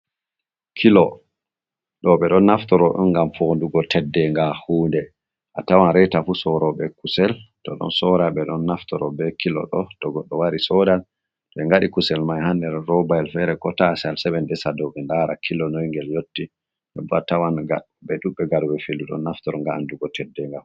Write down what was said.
Kilo ɗo ɓe ɗon naftoro ɗum ngam fondugo teddenga hunde. A tawan reeta fu soroɓe kusel to ɗo sora ɓe ɗon naftoro be kilo ɗo. To goɗɗo wari sodan, to ɓe ngadi kusel mai ha nder robayel fere, ko tasayel se ɓe ndesa dou ɓe ndara kilo doi ngel yotti. Non bo a tawan nga ɓe ɗuɓɓe ngaɗooɓe filu ɗon naftoro ngam andugo teddenga.